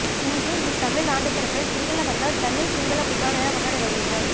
இன்றும் இத் தமிழ் ஆண்டுப் பிறப்பைஇ சிங்களவர்கள் தமிழ் சிங்களப் புத்தாண்டு என கொண்டாடி வருகின்றனர்